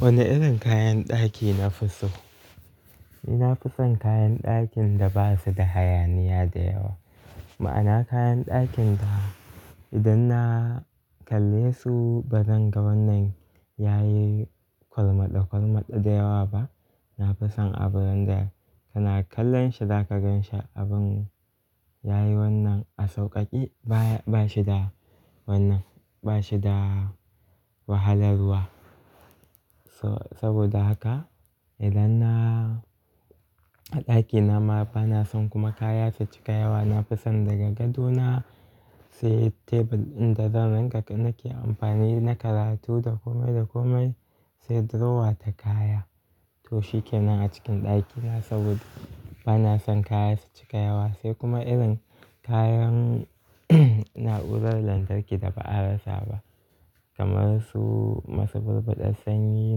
Wane irin kayan ɗaki nafi so? Ina fison kayan ɗakin da basu da hayaniya da yawa. Ma'ana kayan ɗakin da idan na kalle su bazan ga wannan yayi kwalmaɗa kwalmaɗa da yawa ba. Nafison abun da kana kallon shi zaka gan shi abun yayi wannan a sauƙaƙe baya, bashi da wannan, bashi da wahalarwa. So-saboda haka idan na a ɗakina ma bana son kuma kaya su cika yawa. Nafison daga gado na sai tebur inda zan rinƙa nake amfani na karatu da komai da komai sai drawer ta kaya. To shikenan a cikin ɗakina saboda bana son kaya su cika yawa sai kuma irin kayan na'urar lantarki da ba a rasa ba. Kamar su masu burɓuɗar sanyi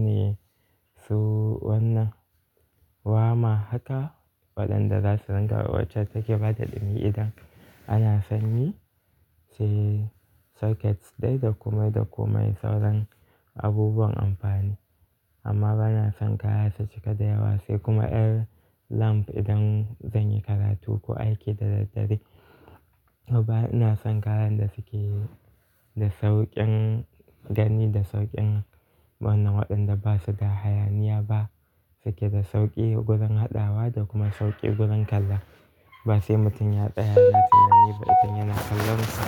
ne su wannan warmer haka waɗanda zasu rinƙa wuce take bada ɗumi idan ana sanyi sai socket dai da komai da komai sauran abubuwan amfani. Amma bana son kaya su cika da yawa sai kuma ƴar lamp idan zanyi karatu ko aiki da daddare. Bana son kalan da suke da sauƙin gani da sauƙin wannan waɗanda basu da hayaniya ba suke da sauƙi gurin haɗawa da kuma sauƙi gurin kala. Basai mutum ya tsaya yana tunani ba idan yana kallon sa.